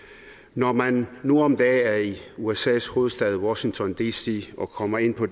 når man nu om dage er i usas hovedstad washington dc og kommer ind på